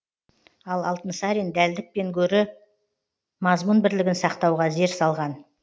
ал алтынсарин дәлдіктен гөрі мазмұн бірлігін сақтауға зер салған